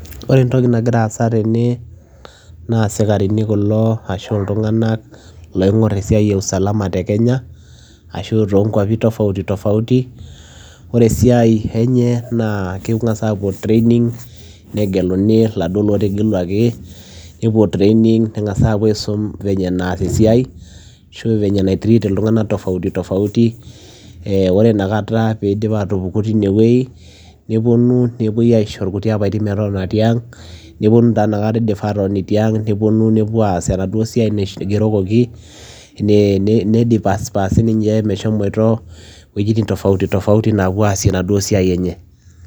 Ore entoki nagira aasa tene naa isikarini kulo ashu iltunganak loingor esiai e usalama te kenya ashu toonkwapi tofautitofauti . Ore esiai enye naa kengas apuo training negeluni, iladuoo lotegeluaki , nepuo training nepuoa angas aisum venye naas esiai ashu venye nai treat iltunganak tofautitofauti. Eh ore inakata peidup teine wuei , neponu nepuoi aisho irkuti apaitin metotona tiang . Neponu taa inakata indipa atotoni tiang , neponu nepuoa aas enaaduo siai naigerokoki , nidispasi sininche meshomoito iwuejitin tofautitofauti naapuo aasie enaduo siai enye.